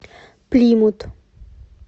плимут